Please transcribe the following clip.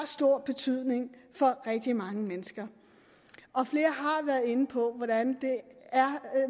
stor betydning for rigtig mange mennesker og flere har været inde på hvordan det er